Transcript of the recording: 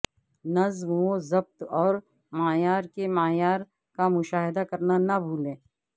نظم و ضبط اور معیار کے معیار کا مشاہدہ کرنا نہ بھولیں